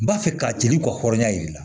N b'a fɛ ka ci ni kɔ hɔrɔnya yir'i la